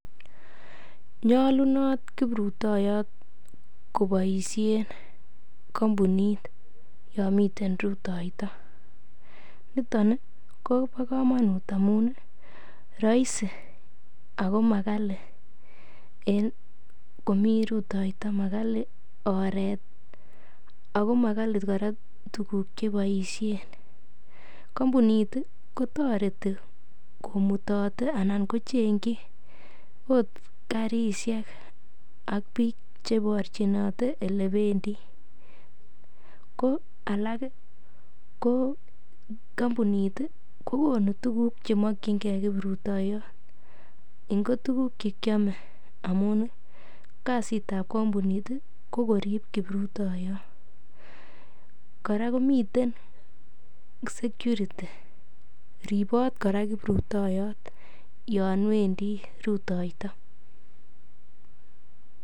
Nyolunot kibrutoyot koboishen kompunit yonmiten rutoito nitoni Kobo komonut amunii roisi Ako Magali en komi rutoito Magali oret Ako Magali kora tuguk cheboishen kompunit kotoreti komutote anan kochengkyi ot karishek ak biik cheborchinote ole bendi ko alak ii ko kompunit kokonu tuguk chemokyinkee kibrutoyot ingo tuguk chekiome amunii kazitab kompunit ii kokorib kibrutoyot kora komiten sekuriti ripoti kora kibrutoyot yowendi rutoito